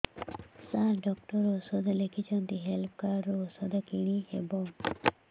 ସାର doctor ଔଷଧ ଲେଖିଛନ୍ତି health card ରୁ ଔଷଧ କିଣି ହେବ